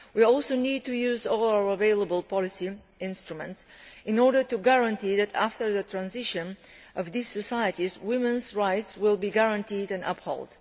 We also need to use all our available policy instruments in order to guarantee that, after the transition of these societies, women's rights will be guaranteed and upheld.